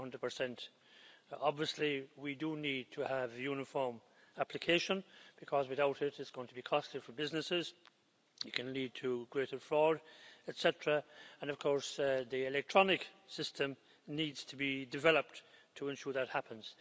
100. Obviously, we need to have uniform application, because without it it's going to be costly for businesses it can lead to greater fraud, etc. And of course the electronic system needs to be developed to ensure that happens.